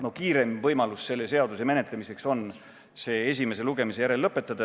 No kiireim võimalus selle seaduse menetlemiseks on see esimese lugemise järel lõpetada.